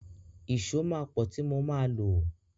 Ìṣó máa pọ tí mo máa lo.